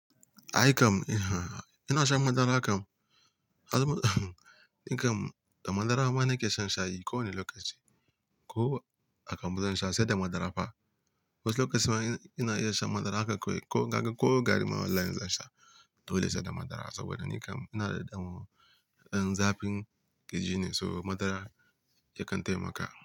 Aikam, eh, ina shan madara kam. In kam da madara mana ke shan shayi ko wane lokaci. Ko aka muzan sha sai da madara fa. Wasu lokaci ma ina iya shan madara haka kawai ko kaga ko gari mana inz an sha, to dole sai da madara saboda ni kam ina da dan zafin kirji ne, so madara yakan taimaka.